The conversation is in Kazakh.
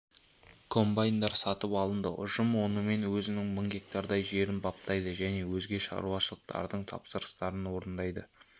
комбайндар сатып алынды ұжым онымен өзінің мың гектардай жерін баптайды және өзге шаруашылықтардың тапсырыстарын орындайды